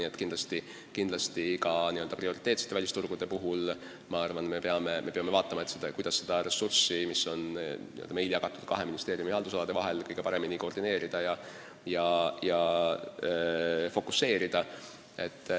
Eks me peame ka n-ö prioriteetsete välisturgude puhul hoolega kaaluma, kuidas seda ressurssi, mis on kahe ministeeriumi haldusalade vahel jagatud, kõige paremini koordineerida ja fokuseerida.